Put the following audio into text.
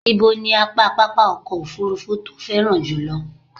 Ibo ní apá pápá ọkọ̀ òfurufú tó o féràn jùlọ?